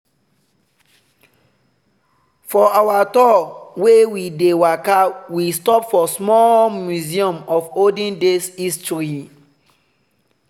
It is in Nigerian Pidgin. for our tour wey we dey waka we stop small for museum of olden days history.